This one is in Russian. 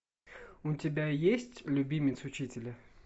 у тебя есть любимец учителя